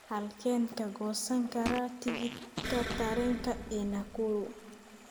Halkeen ka goosan karaa tigidhka tareenka ee Nakuru?